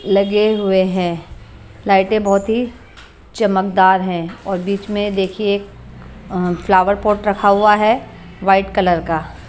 लगे हुए हैं लाइटें बहुत ही चमकदार हैं और बीच में देखिए फ्लावर पॉट रखा हुआ है वाट कलर का।